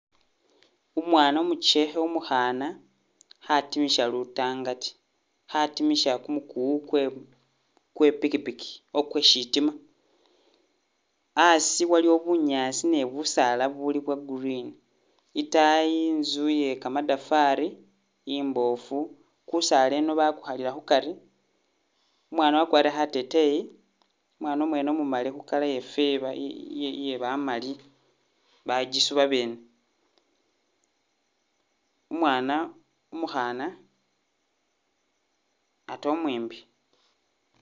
Umwana omuchekhe omukhaana khatimisha lutangati, khatimisha kumukuwu kwe kwe pikipiki o kwe shitima, a'asi waliwo bunyaasi ni busaala buli bwa green, i'taayi i'nzu ye kamadafari i'mboofu, kusaala eno bakukhalira khukari, umwana wakwarile khateteyi, umwana mwene omumali khu colour eye ye yeefe yebamali bagisu babene, umwana umukhana ate omwimbi